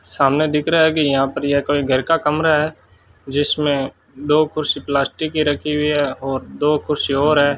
सामने दिख रहा है कि यहां पर ये कोई घर का कमरा है जिसमें दो कुर्सी प्लास्टिक की रखी हुई है और दो कुर्सी और है।